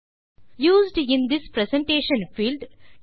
used in this presentation field